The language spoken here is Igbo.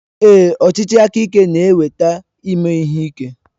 Ee, ọchịchị aka ike na-eweta ime ihe ike.